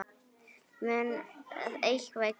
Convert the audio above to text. Mun eitthvað gerast?